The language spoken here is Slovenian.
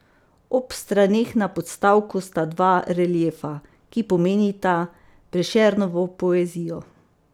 Ob straneh na podstavku sta dva reliefa, ki pomenita Prešernovo poezijo.